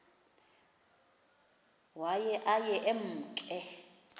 waye aye emke